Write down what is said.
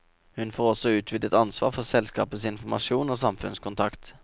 Hun får også utvidet ansvar for selskapets informasjon og samfunnskontakt.